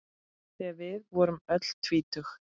Þegar við vorum öll tvítug.